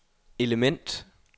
element